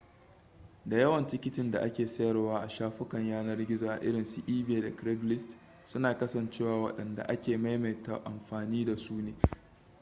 da yawan tikitin da ake sayarwa a shafukan yanar gizo a irinsu ebay da craigslist suna kasancewa wadanda ake maimaita amfani da su ne